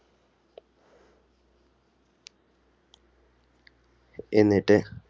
എന്നിട്ട്